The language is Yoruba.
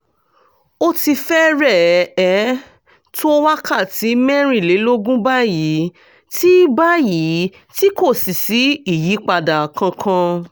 ó ti fẹ́rẹ̀ẹ́ tó wákàtí mẹ́rìnlélógún báyìí tí báyìí tí kò sì sí ìyípadà kankan